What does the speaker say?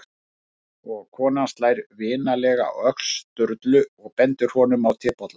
Og konan slær vinalega á öxl Sturlu og bendir honum á tebollann.